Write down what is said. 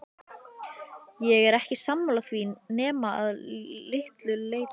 Ég er ekki sammála því nema að litlu leyti.